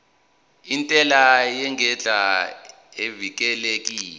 intela ngendlela evikelekile